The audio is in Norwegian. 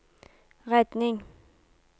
redning